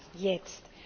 Nämlich jetzt!